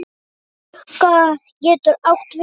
Klúka getur átt við